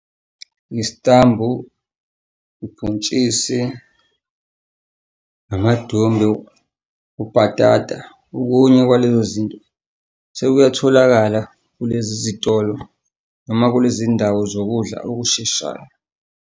Isitambu, ubhontshisi, namadumbe, ubhatata. Okunye kwalezo zinto sekuyatholakala kulezi zitolo noma kulezi ndawo zokudla okusheshayo.